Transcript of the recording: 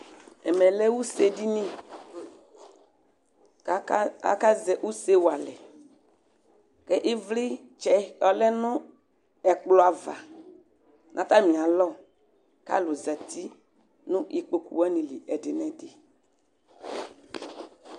Ɛmɛ lɛ usedini akazɛ use wa alɛ Ivlitsɛ ɔlɛ nu ɛkplɔ ava nu atami alɔ Ku alu za uti nu ikpokpu wani li ɛdi nu ɛdi